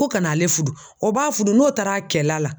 Ko ka n'ale fudu, o b'a fudu n'o taar'a kɛla la